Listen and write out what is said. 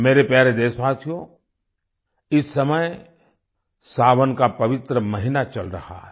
मेरे प्यारे देशवासियो इस समय सावन का पवित्र महीना चल रहा है